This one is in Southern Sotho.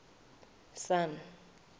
sun